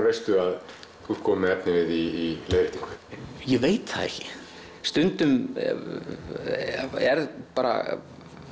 veistu að þú ert kominn með efnivið í leiðréttingu ég veit það ekki stundum er bara